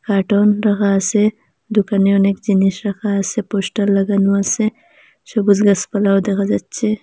Carton রাখা আসে দুকানে অনেক জিনিস রাখা আসে পোস্টার লাগানো আসে সবুজ গাসপালাও দেখা যাচ্ছে।